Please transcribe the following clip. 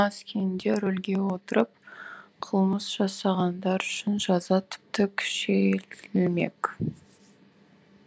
мас күйінде рөлге отырып қылмыс жасағандар үшін жаза тіпті күшейтілмек